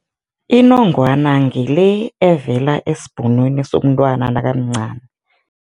Inongwana ngile evela esibhonweni somntwana nakamncani.